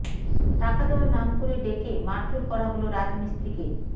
টাকা দেওয়ার নাম করে ডেকে মারধর করা হল রাজমিস্ত্রিকে